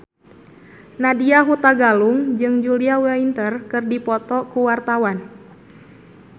Nadya Hutagalung jeung Julia Winter keur dipoto ku wartawan